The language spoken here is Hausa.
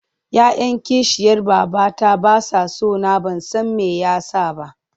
Ya 'yan kishiyar babata ba sa so na ban san me ya sa ba.